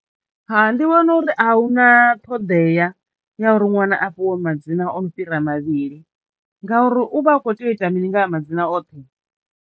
Hai ndi vhona uri a huna ṱhoḓea ya uri ṅwana a fhiwe madzina ono fhira mavhili ngauri u vha a kho teo u ita mini nga ha ya madzina oṱhe.